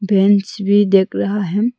Bench भी दिख रहा है।